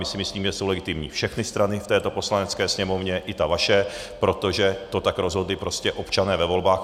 My si myslíme, že jsou legitimní všechny strany v této Poslanecké sněmovně, i ta vaše, protože to tak rozhodli prostě občané ve volbách.